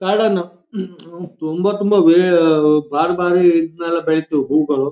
ಗಾರ್ಡೆನ್ನು ತುಂಬಾ ತುಂಬಾ ಇದ್ನೇಲ್ಲ ಬೆಳಿತೀವ್ ಹೂಗಳು.